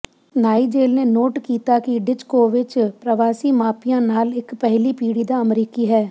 Nigel ਨੇ note ਕੀਤਾ ਕਿ ਡਿਜਕੋਵਿਚ ਪ੍ਰਵਾਸੀ ਮਾਪਿਆਂ ਨਾਲ ਇੱਕ ਪਹਿਲੀ ਪੀੜ੍ਹੀ ਦਾ ਅਮਰੀਕੀ ਹੈ